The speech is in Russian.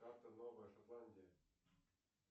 карта новая шотландии